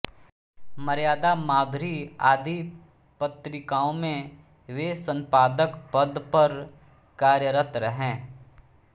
मर्यादा माधुरी आदि पत्रिकाओं में वे संपादक पद पर कार्यरत रहे